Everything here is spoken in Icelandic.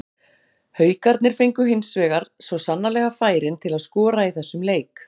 Haukarnir fengu hins vegar svo sannarlega færin til að skora í þessum leik.